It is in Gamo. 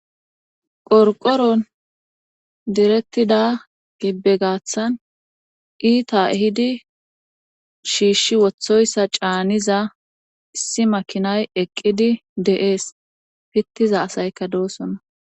qorqoron direktida gibbe gaaththan iita ehidi shiishshi wothoyssa caaniza issi makinay eqqidi de7ees pittiza asayka doosona